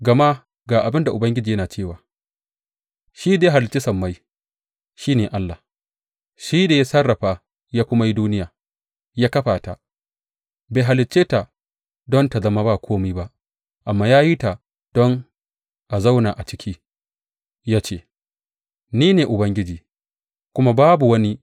Gama ga abin da Ubangiji yana cewa, shi da ya halicci sammai, shi ne Allah; shi da ya sarrafa ya kuma yi duniya, ya kafa ta; bai halicce ta don ta zama ba kome ba, amma ya yi ta don a zauna a ciki, ya ce, Ni ne Ubangiji, kuma babu wani.